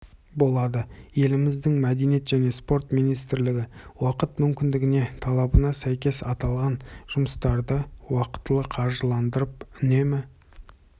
болады еліміздің мәдениет және спорт министрлігі уақыт мүмкіндігіне талабына сәйкес аталған жұмыстарды уақтылы қаржыландырып үнемі